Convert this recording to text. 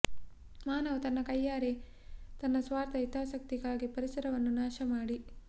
ಮಾನವ ತನ್ನ ಕೈಯಾರೇ ತನ್ನ ಸ್ವಾರ್ಥ ಹಿತಾಸಕ್ತಿಗಾಗಿ ಪರಿಸರವನ್ನು ನಾಶ ಮಾಡಿ